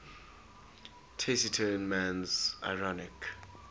taciturn man's ironic